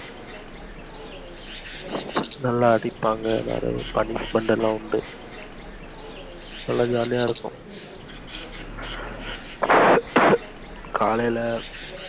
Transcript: நல்லா அடிப்பாங்க நிறையா punishment லா உண்டு நல்லா jolly யா இருக்கும் காலைல